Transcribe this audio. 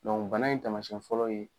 bana in taamasiyɛn fɔlɔ ye